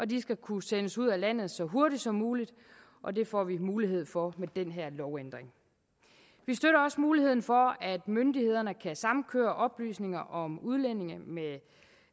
de skal kunne sendes ud af landet så hurtigt som muligt og det får vi mulighed for med den her lovændring vi støtter også muligheden for at myndighederne kan samkøre oplysninger om udlændinge med